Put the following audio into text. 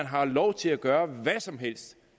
har lov til at gøre hvad som helst